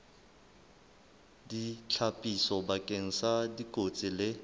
ditlhapiso bakeng sa dikotsi le